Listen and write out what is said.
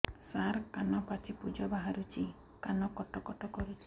ସାର କାନ ପାଚି ପୂଜ ବାହାରୁଛି କାନ କଟ କଟ କରୁଛି